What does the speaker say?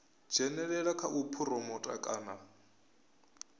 dzhenelela kha u phuromotha kana